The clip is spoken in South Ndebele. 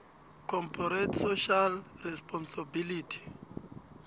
corporate social responsibility